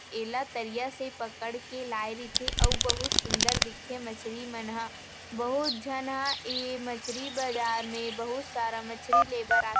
एला तरिया से पकड़ के लाय रीथे अउ बहुत सुन्दर दिख थे मछरी मन ह बहुत झन ह ऐ मछली बाजार में बहुत सारा मछरी ले बर आत --